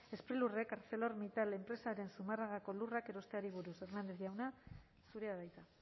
sprilurrek arcelor mittal enpresaren zumarragako lurrak erosteari buruz hernández jauna zurea da hitza